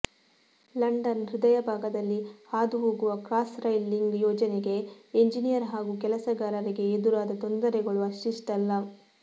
London ಹೃದಯ ಭಾಗದಲ್ಲಿ ಹಾದು ಹೋಗುವ ಕ್ರಾಸ್ ರೈಲ್ ಲಿಂಗ್ ಯೋಜನೆಗೆ ಎಂಜಿನಿಯರ್ ಹಾಗೂ ಕೆಲಸಗಾರರಿಗೆ ಎದುರಾದ ತೊಂದರೆಗಳು ಅಷ್ಟಿಷ್ಟಲ್ಲ